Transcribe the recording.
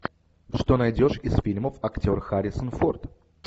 что найдешь из фильмов актер харрисон форд